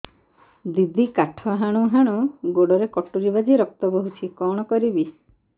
ଦିଦି କାଠ ହାଣୁ ହାଣୁ ଗୋଡରେ କଟୁରୀ ବାଜି ରକ୍ତ ବୋହୁଛି କଣ କରିବି